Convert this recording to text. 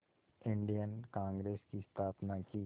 Indian Congress की स्थापना की